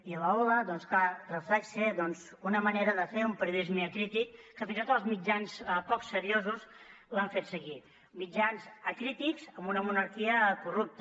i l’hola doncs clar que reflecteix doncs una manera de fer un periodisme acrític que fins i tot els mitjans poc seriosos l’han fet seguir mitjans acrítics amb una monarquia corrupta